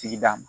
Sigida ma